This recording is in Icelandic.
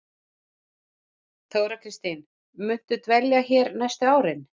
Þóra Kristín: Muntu dvelja hér næstu árin?